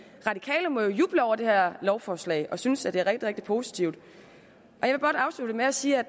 radikale må jo juble over det her lovforslag og synes at det er rigtig positivt jeg vil godt afslutte med at sige at